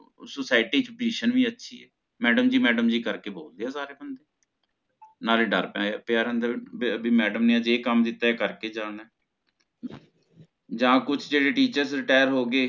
Society ਚ Position ਵੀ ਅੱਛੀ ਹੈ ਮੈਡਮ ਜੀ ਮੈਡਮ ਜੀ ਕਰਕੇ ਬੋਲਦੇ ਹੈ ਸਾਰੇ ਬੰਦੇ ਨਾਲੇ ਡਰ ਪੈ ਪਿਆਰ ਹੁੰਦਾ ਵੀ ਵੀ ਮੈਡਮ ਨੇ ਅਜੇ ਇਹ ਕੰਮ ਦਿਤਾ ਏ ਕਰਕੇ ਜਾਣਾ ਜਾ ਕੁਝ ਜਿਹੜੇ Teachers Retire ਹੋ ਗਏ